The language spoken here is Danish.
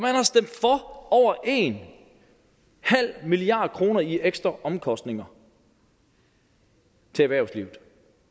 over en halv milliard kroner i ekstra omkostninger til erhvervslivet